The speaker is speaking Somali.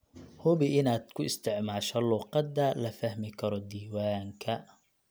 Hubi inaad ku isticmaasho luqadda la fahmi karo diiwaanka.